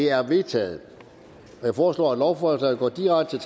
er vedtaget jeg foreslår at lovforslagene går direkte